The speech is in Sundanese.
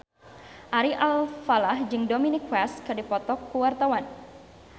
Ari Alfalah jeung Dominic West keur dipoto ku wartawan